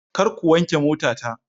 Kar ku wanke motata.